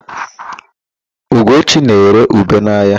Ugochi na-ere ube n'ahịa.